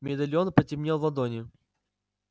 медальон потеплел в ладони